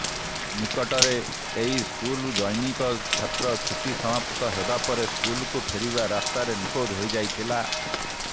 ନିକଟରେ ଏହି ସ୍କୁଲର ଜନୈକ ଛାତ୍ର ଛୁଟି ସମାପ୍ତ ହେବା ପରେ ସ୍କୁଲକୁ ଫେରିବା ରାସ୍ତାରେ ନିଖୋଜ ହୋଇଯାଇଥିଲା